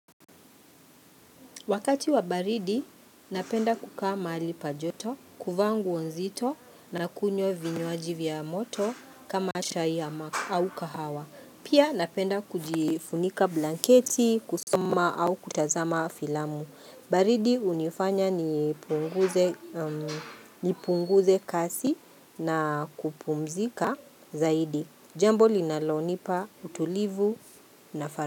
Wakati wa baridi, napenda kukaa mahali pa joto, kuvaa nguo nzito na kunywa vinywaji vya moto kama chai au kahawa. Pia napenda kujifunika blanketi, kusoma au kutazama filamu. Baridi hunifanya nipunguze kazi na kupumzika zaidi. Jambo linalonipa utulivu na.